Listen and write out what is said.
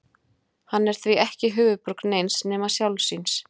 hann er því ekki höfuðborg neins nema sjálfs sín